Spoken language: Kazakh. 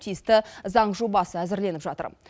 тиісті заң жобасы әзірленіп жатыр